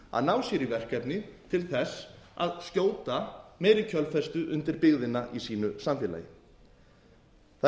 að ná sér í verkefni til þess að skjóta meiri kjölfestu undir byggðina í sínu samfélagi það er